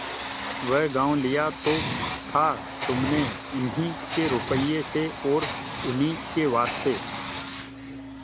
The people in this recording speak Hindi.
वह गॉँव लिया तो था तुमने उन्हीं के रुपये से और उन्हीं के वास्ते